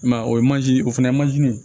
I m'a ye o ye manje o fana ye manje